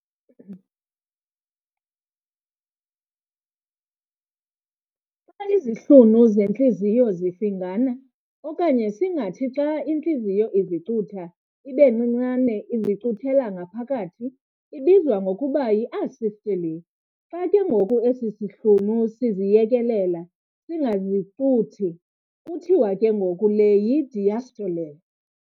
Xa izihlunu zentliziyo zifingana, okanye singathi xa intliziyo izicutha ibencinane izicuthela ngaphakathi, ibizwa ngokuba y"isystole". Xa ke ngoku esi sihlunu siziyekelela, singazizicuthi, kuthiwa ke ngoku le y"idiastole".